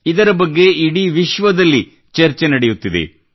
ಇದರ ಬಗ್ಗೆ ಇಡೀ ವಿಶ್ವದಲ್ಲಿ ಚರ್ಚೆ ನಡೆಯುತ್ತಿದೆ